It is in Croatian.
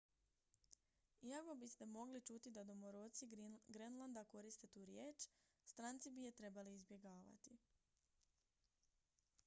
iako biste mogli čuti da domoroci grenlanda koriste tu riječ stranci bi je trebali izbjegavati